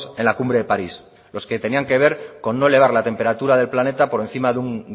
en la cumbre de parís los que tenían que ver con no elevar la temperatura del planeta por encima de un